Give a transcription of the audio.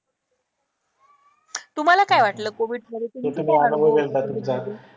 तुम्हाला काय वाटलं कोविडमध्ये